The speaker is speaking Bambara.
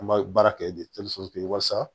An b'a baara kɛ walasa